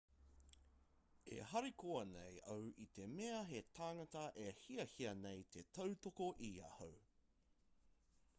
e harikoa nei au i te mea he tāngata e hiahia nei te tautoko i ahau